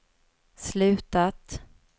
slutat